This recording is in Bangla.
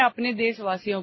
অডিও